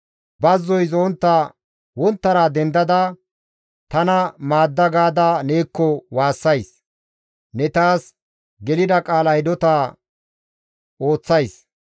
Bazzoy zo7ontta wonttara dendada, «Tana maadda» gaada neekko waassays; ne taas gelida qaala hidota ooththays.